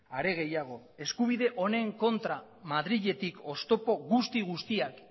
are gehiago eskubide honen kontra madriletik oztopo guzti guztiak